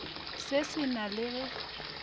se se na le ge